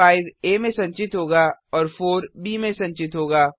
5 आ में संचित होगा और 4 ब में संचित होगा